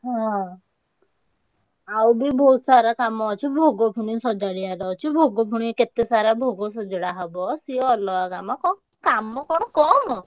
ହଁ, ଆଉ ବି ବହୁତ୍ ସାରା କାମ ଅଛି, ଭୋଗ ପୁଣି ସଜାଡ଼ିଆର ଅଛି, ଭୋଗ ପୁଣି କେତେ ସାରା ଭୋଗ ସଜାଡା ହବ ସିଏ ଅଲଗା କାମ, କାମ କଣ କମ୍।